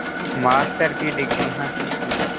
master की degree हासिल की